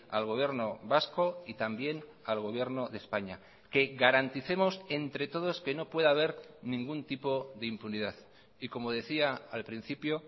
al gobierno vasco y también al gobierno de españa que garanticemos entre todos que no pueda haber ningún tipo de impunidad y como decía al principio